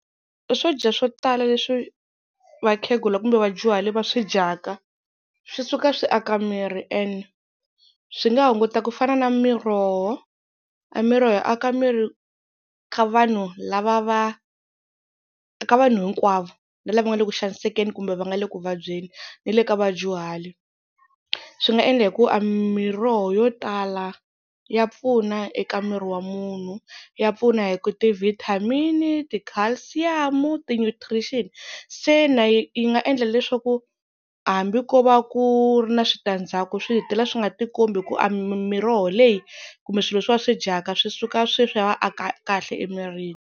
Swo dya swo tala leswi vakhegula kumbe vadyuhari va swi dyaka, swi suka swi aka miri and swi nga hunguta ku fana na miroho, miroho yo aka miri ka vanhu lava va ka vanhu hinkwavo na lava nga le ku xanisekeke kumbe va nga le ku vabyeni ni le ka vadyuhari. Swi nga endla hi ku a miroho yo tala ya pfuna eka miri wa munhu, ya pfuna hi ku ti-vitamin-i, ti-calcium-u, ti-nutrition. Se na yi nga endla leswaku hambi ko va ku ri na switandzhaku swi hetelela swi nga tikombi hi ku a miroho leyi kumbe swilo leswi va swi dyaka swi suka se swi ya va aka kahle emirini.